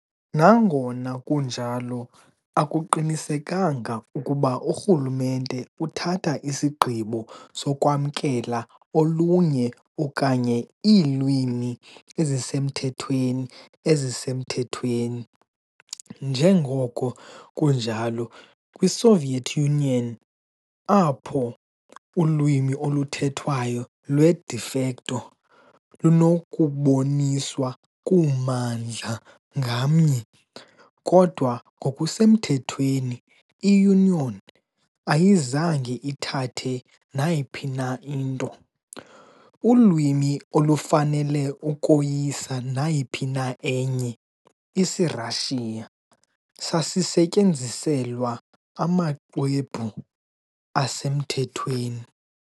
Nangona kunjalo, akuqinisekanga ukuba urhulumente uthatha isigqibo sokwamkela olunye okanye iilwimi ezisemthethweni ezisemthethweni, njengoko kunjalo kwiSoviet Union, apho ulwimi oluthethwayo lwe "de facto" lunokuboniswa kummandla ngamnye, kodwa ngokusemthethweni i-Union ayizange ithathe nayiphi na into. Ulwimi olufanele ukoyisa nayiphi na enye, isiRashiya sasisetyenziselwa amaxwebhu asemthethweni.